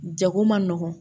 Jago man nɔgɔn